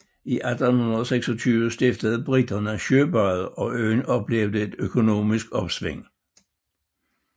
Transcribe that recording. I 1826 stiftede briterne søbadet og øen oplevede et økonomisk opsving